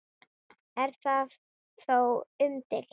Er það þó umdeilt